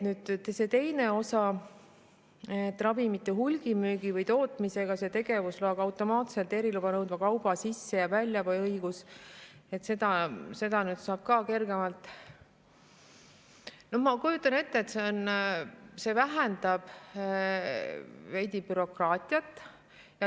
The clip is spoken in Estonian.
Nüüd, see teine osa, et ravimite hulgimüügi või tootmise tegevusloaga kaasneb automaatselt eriluba nõudva kauba sisse- ja väljaveo õigus, et seda saab ka kergemalt – ma kujutan ette, et see vähendab veidi bürokraatiat.